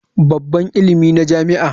Babban ilimi na jami'a.